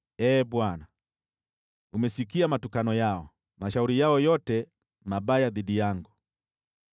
Ee Bwana , umesikia matukano yao, mashauri yao yote mabaya dhidi yangu: